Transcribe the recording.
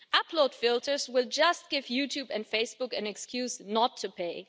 Upload filters will just give YouTube and Facebook an excuse not to pay.